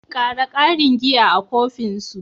Ƙara ƙarin giya a kofin su.